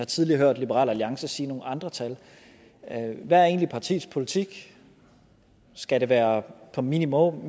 tidligere hørt liberal alliance sige nogle andre tal hvad er egentlig partiets politik skal det være minimum